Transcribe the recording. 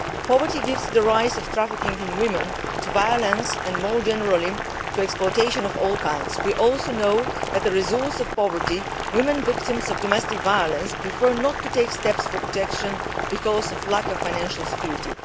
Poverty gives rise to trafficking in women, to violence and, more generally, to exploitation of all kinds. We also know that as a result of poverty, women victims of domestic violence prefer not to take steps for their own protection because of a lack of financial security.